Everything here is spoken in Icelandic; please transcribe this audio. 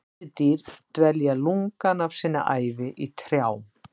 Letidýr dvelja lungann af sinni ævi í trjám.